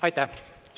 Aitäh!